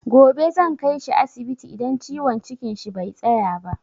Gobe zan kaishi asibiti idan ciwon cikin shi bai tsaya ba.